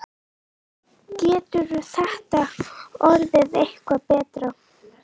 Getur þetta orðið eitthvað betra?